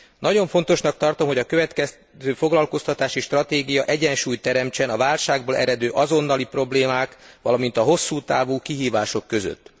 Nagyon fontosnak tartom, hogy a következő foglalkoztatási stratégia egyensúlyt teremtsen a válságból eredő azonnali problémák, valamint a hosszú távú kihívások között.